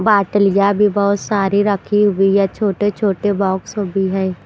बाटलियाँ भी बहुत सारी रखी हुई है छोटे छोटे बॉक्स भी है।